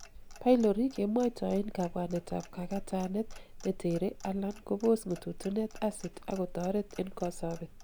pylori kemwoitoen kabwanetab kakatanet netere alan kobos ng'ututunet acit ak kotoret en kosobet.